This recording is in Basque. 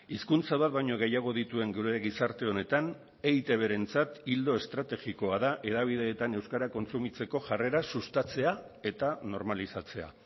hizkuntza bat baino gehiago dituen gure gizarte honetan eitbrentzat ildo estrategikoa da hedabideetan euskara kontsumitzeko jarrera sustatzea eta normalizatzea